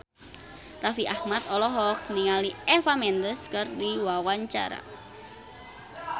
Raffi Ahmad olohok ningali Eva Mendes keur diwawancara